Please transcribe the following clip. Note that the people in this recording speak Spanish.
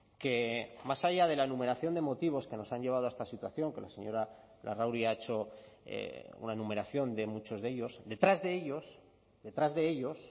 que más allá de la enumeración de motivos que nos han llevado a esta situación que la señora larrauri ha hecho una enumeración de muchos de ellos detrás de ellos detrás de ellos